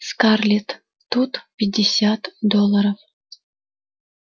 скарлетт тут пятьдесят долларов